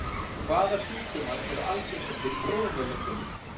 Hvaða sjúkdómar eru algengastir í þróunarlöndunum?